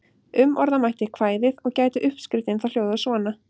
Umorða mætti kvæðið og gæti uppskriftin þá hljóðað svona: